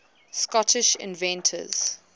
scottish inventors